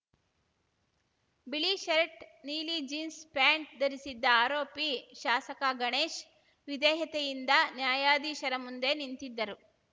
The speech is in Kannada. ಬಿಳಿ ಶರ್ಟ್‌ ನೀಲಿ ಜೀನ್ಸ್ ಪ್ಯಾಂಟ್‌ ಧರಿಸಿದ್ದ ಆರೋಪಿ ಶಾಸಕ ಗಣೇಶ್‌ ವಿಧೇಯತೆಯಿಂದ ನ್ಯಾಯಾಧೀಶರ ಮುಂದೆ ನಿಂತಿದ್ದರು